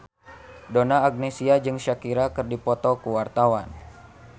Donna Agnesia jeung Shakira keur dipoto ku wartawan